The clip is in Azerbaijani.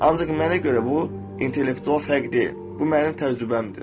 Ancaq mənə görə bu intellektual fərq deyil, bu mənim təcrübəmdir.